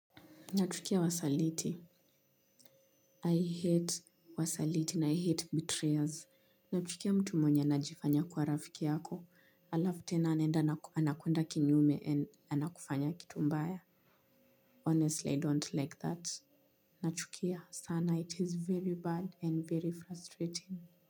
Nachukia wasaliti. I hate wasaliti na I hate betrayals. Nachukia mtu mwenye anajifanya kuwa rafiki yako. Alafu tena anaenda anakwenda kinyume and anakufanya kitu mbaya. Honestly, I don't like that. Nachukia sana it is very bad and very frustrating.